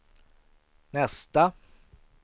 nästa